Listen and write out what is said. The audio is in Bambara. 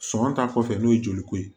Sɔgɔ ta kɔfɛ n'o ye joliko ye